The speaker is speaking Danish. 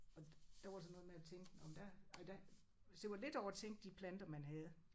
Og der var så noget med at tænke nåh men der nej der altså det var lidt over at tænke de planter man havde